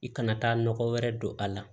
I kana taa nɔgɔ wɛrɛ don a la